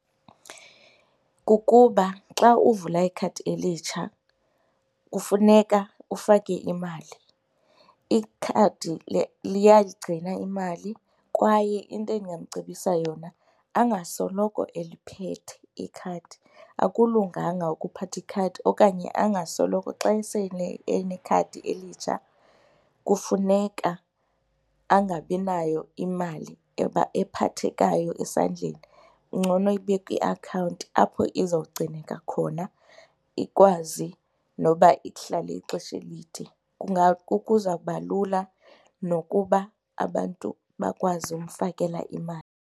Kukuba xa uvula ikhadi elitsha kufuneka ufake imali. Ikhadi liyayigcina imali kwaye into endingamcebisa yona angasoloko eliphethe ikhadi, akulunganga ukuphatha ikhadi okanye angasoloko xa sele enekhadi elitsha kufuneka angabi nayo imali ephathekayo esandleni. Kungcono ibe kwiakhawunti apho izogcineka khona ikwazi noba ihlale ixesha elide, kuzawuba lula nokuba abantu bakwazi umfakela imali.